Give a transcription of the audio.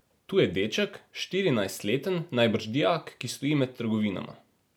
Tu je deček, štirinajstleten, najbrž dijak, ki stoji med trgovinama.